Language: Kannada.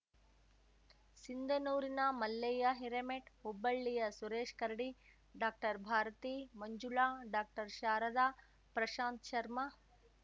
ಸಿಂಧನೂರಿನ ಮಲ್ಲಯ್ಯ ಹಿರೇಮೆಠ್ ಹುಬ್ಬಳ್ಳಿಯ ಸುರೇಶ್ ಕರಡಿ ಡಾಕ್ಟರ್ಭಾರತಿ ಮಂಜುಳಾ ಡಾಕ್ಟರ್ಶಾರದಾ ಪ್ರಶಾಂತ್ ಶರ್ಮ